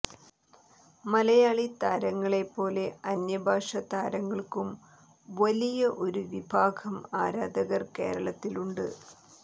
മലയാളി താരങ്ങളെ പോലെ അന്യഭാഷ താരങ്ങൾക്കും വലിയ ഒരു വിഭാഗം ആരാധകർ കേരളത്തിലുണ്ട്